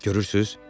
Görürsüz?